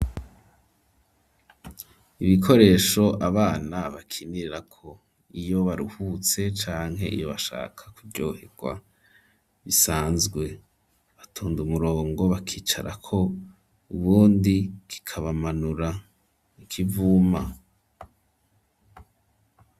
Ibikoresho abana bakinirako iyo baruhutse canke iyo bashaka kuryoherwa bisanzwe batonda umurongo bakicarako ubundi kikabamanura ikivuma.